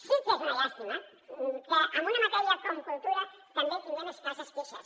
sí que és una llàstima que en una matèria com cultura també tinguem escasses queixes